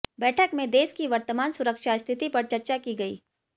बैठक में देश की वर्तमान सुरक्षा स्थिति पर चर्चा की गयी